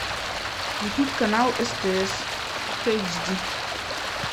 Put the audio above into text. включить канал стс хэйчди